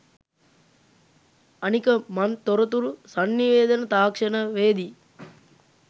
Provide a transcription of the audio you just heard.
අනික මං තොරතුරු සන්නිවේදන තාක්ෂණවේදී